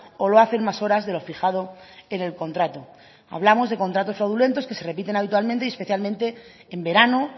o lo hacen más horas de lo fijado en el contrato hablamos de contratos fraudulentos que se repiten habitualmente y especialmente en verano